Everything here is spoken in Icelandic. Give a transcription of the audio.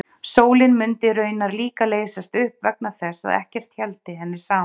Sólin mundi raunar líka leysast upp vegna þess að ekkert héldi henni saman.